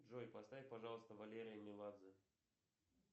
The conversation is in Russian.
джой поставь пожалуйста валерия меладзе